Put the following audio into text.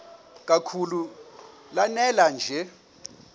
kakhulu lanela nje